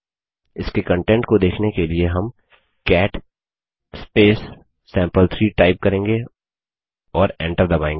इसके कंटेंट को देखने के लिए हम कैट सैंपल3 टाइप करेंगे और एंटर दबायेंगे